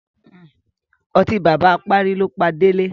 Ọtí bàbá apárí ló pa Délé.